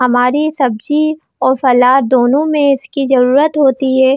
हमारी सब्जी और सलाद दोनों में इसकी जरुरत होती है।